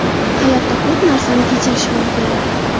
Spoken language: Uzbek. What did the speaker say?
Hayotda ko‘p narsani kechirish mumkin.